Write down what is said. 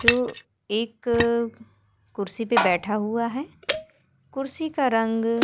जो एक कुर्सी पे बैठा हुआ है कुर्सी का रंग --